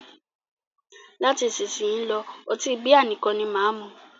Láti isísìnyí lọ́, ọtí bíà nìkan ni máà mú.